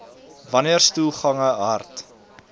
wanneer stoelgange hard